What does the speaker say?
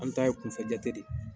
An ta ye kunfɛ jate de ye